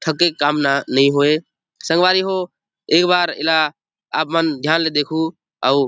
थके काम ना नहीं होए संगवारी हो एक बार एला आपमन ध्यान ले देखु अउ --